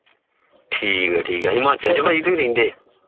ਠੀਕ ਏ ਠੀਕ ਏ ਹਿਮਾਚਲ ਚ